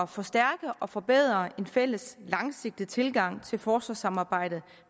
forstærke og forbedre en fælles langsigtet tilgang til forsvarssamarbejdet